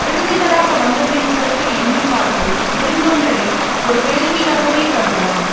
விருந்தினராக வந்தவரின் சிறப்பை எண்ணி பார்த்து விருந்தோம்பலை ஒரு வேள்வியாகவே கருதலாம்